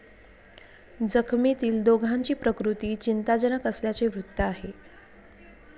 जखमीतील दोघांची प्रकृती चिंताजनक असल्याचे वृत्त आहे.